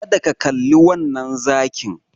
Kada ka kalli wannan zakin.